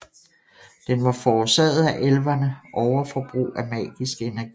Den var forårsaget af elverne overforbrug af magiske energier